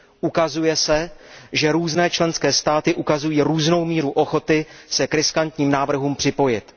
Ukazuje se, že různé členské státy ukazují různou míru ochoty se k riskantním návrhům připojit.